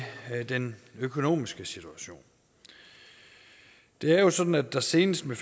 den økonomiske situation det er jo sådan at der senest med